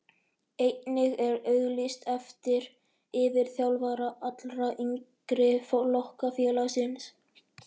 Einnig er auglýst eftir yfirþjálfara allra yngri flokka félagsins.